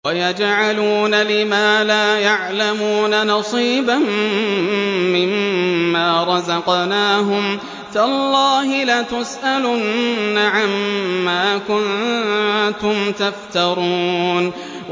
وَيَجْعَلُونَ لِمَا لَا يَعْلَمُونَ نَصِيبًا مِّمَّا رَزَقْنَاهُمْ ۗ تَاللَّهِ لَتُسْأَلُنَّ عَمَّا كُنتُمْ تَفْتَرُونَ